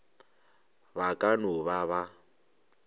ba ka no ba ba